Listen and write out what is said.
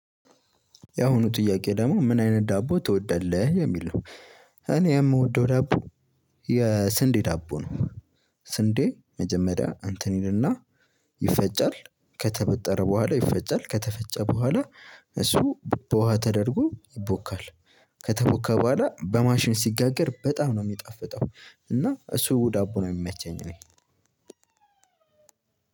ያሁኑ ጥያቄ ደግሞ ምን አይነት ዳቦ ትወዳለህ የሚል ነው? እኔ የምወደው ዳቦ የስንዴ ዳቦ ነው። ስንዴ መጀመሪያ እንተን ይልና ይፈጫል ከተበጠረ በኋላ ይፈጨራል ከተፈጨ በኋላ። እሱ በውሃ ተደርጎ ይቦካል ከተቦካ በኋላ በማሽን ሲጋገር በጣም ነው የሚጣፍጠው እና እሱ ዳቦ ነው የሚመቸኝ። እኔ